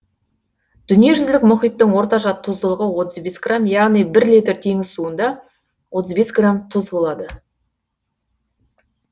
дүниежүзілік мұхиттың орташа тұздылығы отыз бес грамм яғни бір литр теңіз суында отыз бес грамм тұз болады